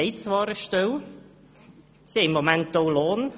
Zwar haben diese Personen eine Stelle und erhalten im Moment auch Lohn.